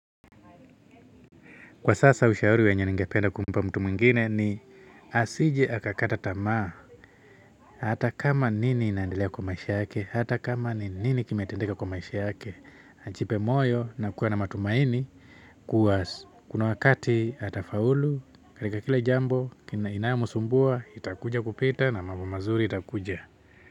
Kwa sasa ushauri wenye ningependa kumpa mtu mwingine ni asije akakata tamaa hata kama nini inaendelea kwa maisha yake hata kama nini kimetendeka kwa maisha yake ajipe moyo na kuwa na matumaini kuwa kuna wakati atafaulu katika kila jambo inayomsumbua itakuja kupita na mambo mazuri itakuja.